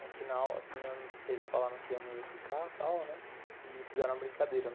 No final, assim, eles falaram que eu não ia ficar tal, né, e fizeram uma brincadeira, né.